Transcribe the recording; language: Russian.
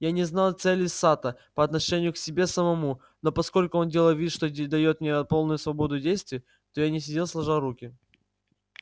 я не знал целей сатта по отношению к себе самому но поскольку он делал вид что даёт мне полную свободу действий то я не сидел сложа руки